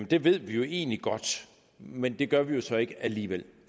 det ved vi jo egentlig godt men det gør vi så ikke alligevel